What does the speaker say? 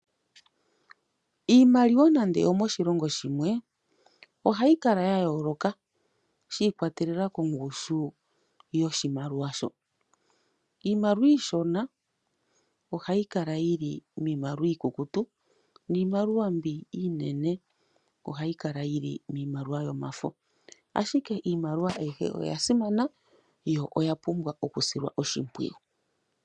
Iimaliwa nande oyo moshilongo shimwe ohayi kala ya yooloka shi ikwatelela kongushu yoshimaliwa shoka. Iimaliwa iishona ohayi kala yi li miimaliwa iikukutu, niimaliwa mbi iinene ohayi kala yi li miimaliwa yomafo, ashike iimaliwa ayihe oya simana noya pumbwa okusilwa oshimpwiyu.